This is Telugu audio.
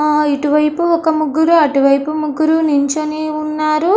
ఆ ఇటు వైపు ఒక ముగ్గురు అటు వైపు ముగ్గురు నుంచొని ఉన్నారు.